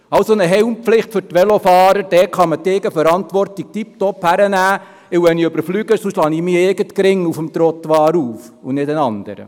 Bei der Helmpflicht für Velofahrer kann man die Eigenverantwortung wunderbar heranziehen, denn wenn ich stürze, schlage ich meinen eigenen Kopf auf dem Trottoir auf, und keinen anderen.